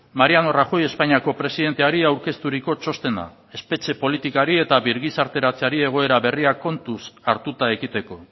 mariano rajoy espainiako presidenteari aurkezturiko txostena espetxe politikari eta birgizarteratzeari egoera berria kontuz hartuta ekiteko